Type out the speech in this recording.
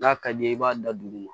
N'a ka d'i ye i b'a da dugu ma